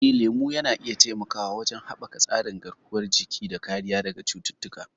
Eh, lemu na iya taimakawa wajen haɓaka tsarin garkuwar jiki da kariya daga cututtuka.